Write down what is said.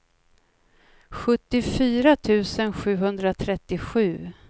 sjuttiofyra tusen sjuhundratrettiosju